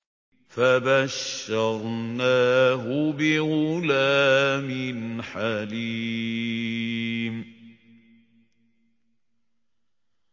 فَبَشَّرْنَاهُ بِغُلَامٍ حَلِيمٍ